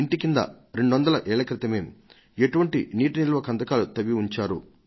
కూడా చూడవచ్చు రమారమి 200 ఏళ్ల క్రితం నిర్మించారు వీటిని వాన నీటిని నిల్వ చేయడానికి